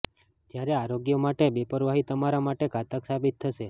જ્યારે આરોગ્ય માટે બેપરવાહી તમારા માટે ઘાતક સાબિત થશે